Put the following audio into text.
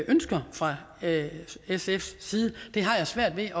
ønsker fra sfs side det har jeg svært ved